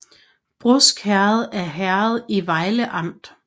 Brusk Herred er herred i Vejle Amt